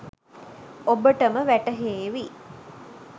ඔබටම වැටහේවි